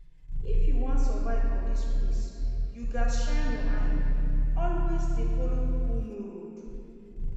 If you wan survive for dis place you gats shine your eye, always dey follow who know road